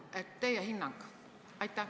Milline on teie hinnang?